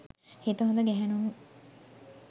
හිත හොඳ ගැහැණුන්